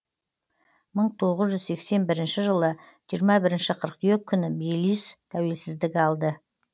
мың тоғыз жүз сексен бірінші жылы жиырма бірінші қыркүйек күні белиз тәуелсіздік алды